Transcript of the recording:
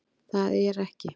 Það er ekki